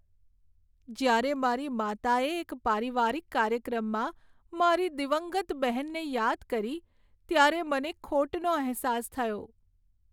જ્યારે મારી માતાએ એક પારિવારિક કાર્યક્રમમાં મારી દિવંગત બહેનને યાદ કરી ત્યારે મને ખોટનો અહેસાસ થયો.